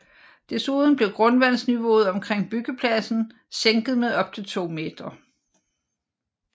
Desuden blev grundvandsniveauet omkring byggepladsen sænket med op til 2 meter